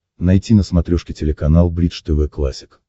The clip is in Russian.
найти на смотрешке телеканал бридж тв классик